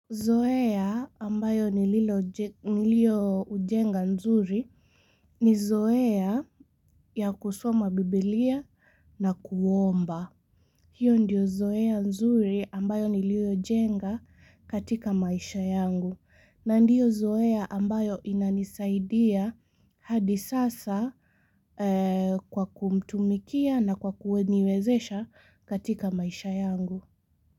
Zoea ambayo nilioujenga nzuri ni zoea ya kusoma biblia na kuomba. Hiyo ndio zoea nzuri ambayo nilio jenga katika maisha yangu. Na ndiyo zoea ambayo inanisaidia hadi sasa kwa kumtumikia na kwa kuniwezesha katika maisha yangu.